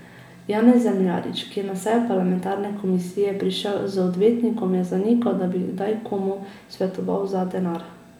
Janez Zemljarič, ki je na sejo parlamentarne komisije prišel z odvetnikom, je zanikal, da bi kdaj komu svetoval za denar.